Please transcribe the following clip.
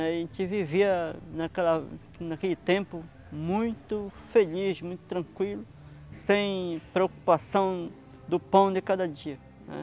A gente vivia naquela naquele tempo muito feliz, muito tranquilo, sem preocupação do pão de cada dia, né.